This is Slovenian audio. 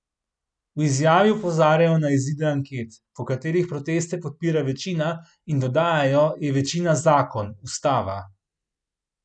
V izjavi opozarjajo na izide anket, po katerih proteste podpira večina, in dodajajo, je večina zakon, ustava.